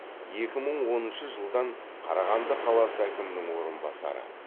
екі мың оныншы жылдан қарағанды қаласы әкімінің орынбасары